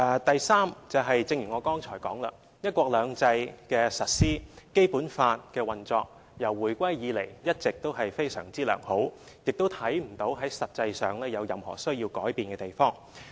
第三，正如我剛才所說，"一國兩制"的實施和《基本法》的運作自回歸以來一直也非常良好，亦看不到實際上有任何須改變的地方。